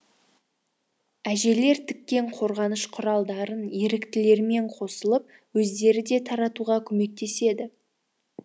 әжелер тіккен қорғаныш құралдарын еріктілермен қосылып өздері де таратуға көмектеседі